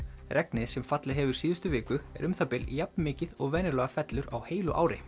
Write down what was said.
regnið sem fallið hefur síðustu viku er um það bil jafn mikið og venjulega fellur á heilu ári